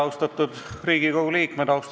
Austatud Riigikogu liikmed!